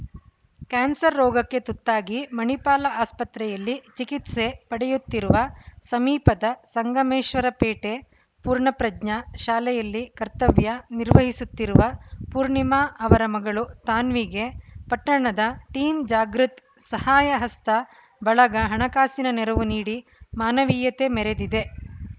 cancer ರೋಗಕ್ಕೆ ತುತ್ತಾಗಿ ಮಣಿಪಾಲ ಆಸ್ಪತ್ರೆಯಲ್ಲಿ ಚಿಕಿತ್ಸೆ ಪಡೆಯುತ್ತಿರುವ ಸಮೀಪದ ಸಂಗಮೇಶ್ವರಪೇಟೆ ಪೂರ್ಣಪ್ರಜ್ಞಾ ಶಾಲೆಯಲ್ಲಿ ಕರ್ತವ್ಯ ನಿರ್ವಹಿಸುತ್ತಿರುವ ಪೂರ್ಣಿಮಾ ಅವರ ಮಗಳು ತಾನ್ವಿಗೆ ಪಟ್ಟಣದ ಟೀಂ ಜಾಗೃತ್‌ ಸಹಾಯಹಸ್ತ ಬಳಗ ಹಣಕಾಸಿನ ನೆರವು ನೀಡಿ ಮಾನವೀಯತೆ ಮೆರೆದಿದೆ